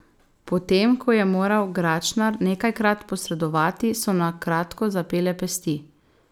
Potem ko je moral Gračnar nekajkrat posredovati, so na kratko zapele pesti.